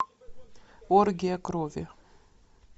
оргия крови